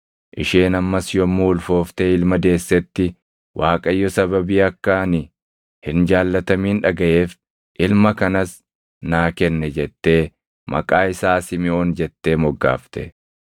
Isheen ammas yommuu ulfooftee ilma deessetti, “ Waaqayyo sababii akka ani hin jaallatamin dhagaʼeef ilma kanas naa kenne” jettee maqaa isaa Simiʼoon jettee moggaafte.